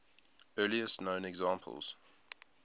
earliest known examples